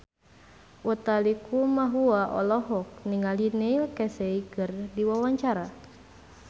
Utha Likumahua olohok ningali Neil Casey keur diwawancara